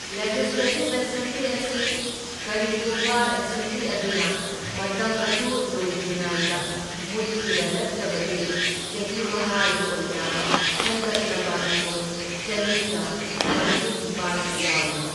Legislative assembly ꯑꯁꯤ ꯀꯔꯤꯒꯨꯝꯕ assembly ꯑꯗꯨꯅ ꯃꯇꯝ ꯑꯗꯨ ꯂꯣꯏꯗ꯭ꯔꯤꯉꯥꯏꯗ ꯃꯨꯠꯈꯤꯕ ꯅꯠꯇ꯭ꯔꯕꯗꯤ ꯆꯥꯍꯤ ꯃꯉꯥꯒꯤ ꯑꯣꯏꯅ ꯈꯟꯒꯠꯂꯕ ꯃꯤꯍꯨꯠ ꯆꯟꯅꯤꯒ ꯃꯔꯐꯨꯅꯤꯄꯥꯜ ꯌꯥꯎꯏ꯫